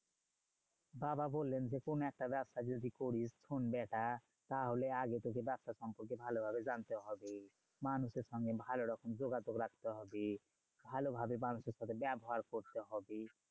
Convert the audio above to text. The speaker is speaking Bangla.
বাবা বললেন যে, কোনো একটা ব্যবসা যদি করিস শোন বেটা, তাহলে আগে থেকে ব্যবসা সম্পর্কে ভালোভাবে জানতে হবে। মানুষের সঙ্গে ভালোরকম যোগাযোগ রাখতে হবে। ভালোভাবে মানুষের সাথে ব্যবহার করতে হবে।